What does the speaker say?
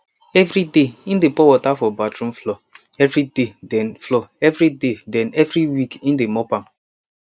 evri day im dey pour water for bathroom floor evriday den floor evriday den evri week im de mop am